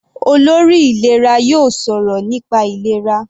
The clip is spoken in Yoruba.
Olórí ìlera yóò sọ̀rọ̀ nípa ìlera.